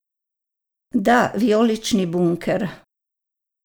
Da, vijolični bunker!